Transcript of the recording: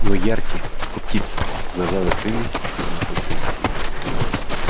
его яркие как у птицы глаза закрылись и вновь открылись